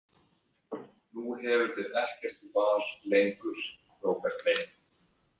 Nú hefurðu ekkert val lengur, Róbert minn.